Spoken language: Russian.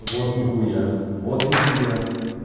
вот нехуя вот нехуя